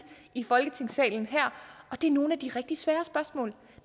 i folketingssalen her og det er nogle af de rigtig svære spørgsmål